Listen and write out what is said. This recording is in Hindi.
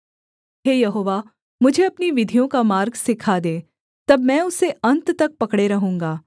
हे यहोवा मुझे अपनी विधियों का मार्ग सिखा दे तब मैं उसे अन्त तक पकड़े रहूँगा